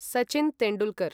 Sachin Tendulkar